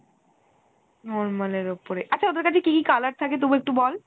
normal এর ওপরে , আচ্ছা ওদের কাছে কি কি color থাকে তবু একটু বল